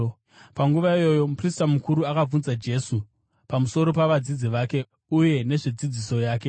Panguva iyoyo, muprista mukuru akabvunza Jesu pamusoro pavadzidzi vake uye nezvedzidziso yake.